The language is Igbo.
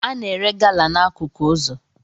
A na-ere gala n'akụkụ ụzọ